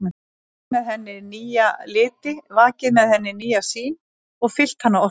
Kveikt með henni nýja liti, vakið með henni nýja sýn og fyllt hana orku.